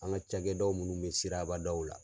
An ka cakɛdaw munnu be sirabadaw la